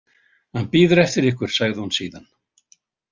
Hann bíður eftir ykkur, sagði hún síðan.